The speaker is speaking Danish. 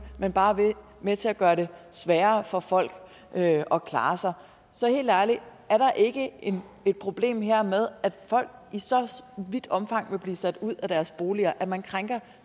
men bare er med til at gøre det sværere for folk at at klare sig så helt ærligt er der ikke et problem her med at folk i så vidt omfang vil blive sat ud af deres boliger og at man krænker